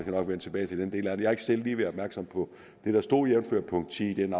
nok vende tilbage til den del af det jeg har ikke selv været opmærksom på det der stod jævnfør punkt ti i den